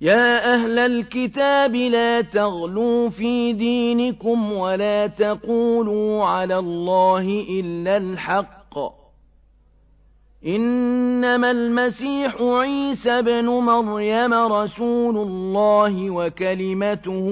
يَا أَهْلَ الْكِتَابِ لَا تَغْلُوا فِي دِينِكُمْ وَلَا تَقُولُوا عَلَى اللَّهِ إِلَّا الْحَقَّ ۚ إِنَّمَا الْمَسِيحُ عِيسَى ابْنُ مَرْيَمَ رَسُولُ اللَّهِ وَكَلِمَتُهُ